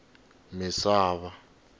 misava